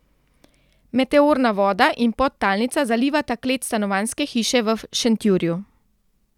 Meteorna voda in podtalnica zalivata klet stanovanjske hiše v Šentjurju.